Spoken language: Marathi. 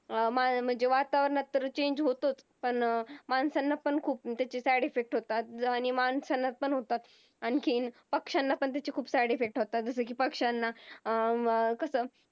अं म्हणजे वातावराणात तर Change होतोच पण अह माणसांना पण त्यांचे खूप Side effects होतात आणि माणसांना पण होतात आणखीन पक्ष्यांनापण त्याचे खूप Side effects होतात. जसा कि पक्ष्यांना आह अं कस